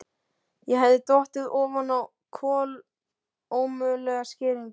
Ég hafði dottið ofan á kolómögulega skýringu.